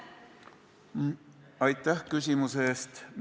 Aitäh küsimuse eest!